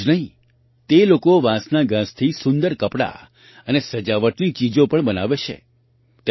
એટલું જ નહીં તે લોકો વાંસના ઘાસથી સુંદર કપડાં અને સજાવટની ચીજો પણ બનાવે છે